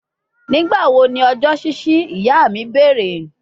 Nigbawo ni ọjọ ṣiṣi, iya mi beere